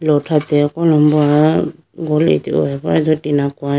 thrate kolombo ah aye do tina koyyi bo.